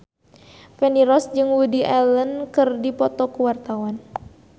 Feni Rose jeung Woody Allen keur dipoto ku wartawan